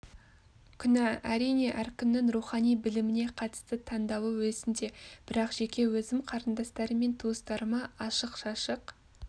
күнә әрине әркімнің рухани біліміне қатысты таңдауы өзінде бірақ жеке өзім қарындастарым мен туыстарыма ашық-шашық